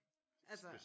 Altså